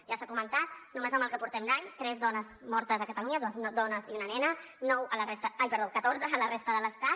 ja s’ha comentat només en el que portem d’any tres dones mortes a catalunya dues dones i una nena catorze a la resta de l’estat